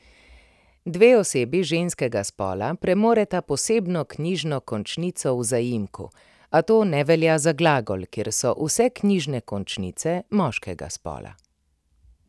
Dve osebi ženskega spola premoreta posebno knjižno končnico v zaimku, a to ne velja za glagol, kjer so vse knjižne končnice moškega spola.